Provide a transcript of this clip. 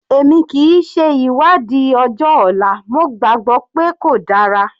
Èmi kìí ṣe ìwádìí ọjọ́ ọ̀la, mo gbàgbọ́ pé kò dára.